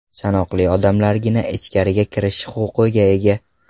Sanoqli odamlargina ichkariga kirish huquqiga ega.